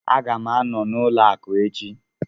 Aga m anọ n'ụlọ akụ echi